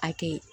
A kɛ